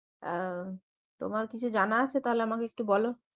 আহ তোমার কিছু জানা আছে তাহলে আমাকে একটু বলো